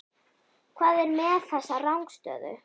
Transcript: Hvað er með þessa rangstöðu?